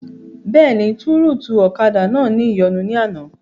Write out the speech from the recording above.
Bẹ́ẹ̀ni, tọ́rùtù ọ̀kadà náà ní ìyọnu ní àná